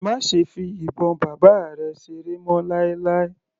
Má ṣe fi ìbọn bàbá rẹ̀ seré mọ́ láíláí.